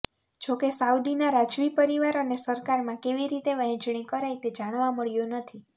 જો કે સાઉદીનાં રાજવી પરિવાર અને સરકારમાં કેવી રીતે વહેંચણી કરાઈ તે જાણવા મળ્યું નથી